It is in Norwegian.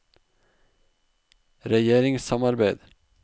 regjeringssamarbeid